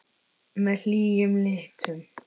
Með hlýjum litum.